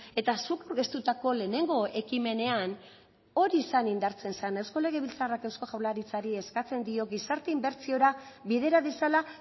eta zuk aurkeztutako lehenengo ekimenean hori zan indartzen zen eusko legebiltzarrak euskal jaurlaritzari eskatzen dio gizarte inbertsiora bidera dezala